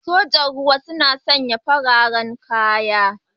Sojin ruwa suna sanya fararen kaya.